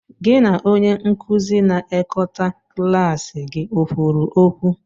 Gị na onye nkuzi na ekọta klaasị gị o kwuru okwu?